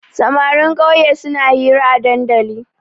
Samarin ƙauye suna hira a dandali.